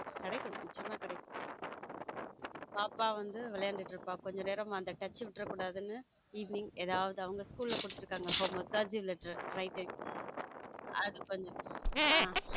கிடைக்கும் நிச்சயமாக கிடைக்கும் பாப்பா வந்து விளையாடிட்டு இருக்கா கொஞ்ச நேரம் அந்த touch விடுற கூடாதுன்ன evening ஏதாவது அவங்க school கொடுத்திருக்காங் home work writing .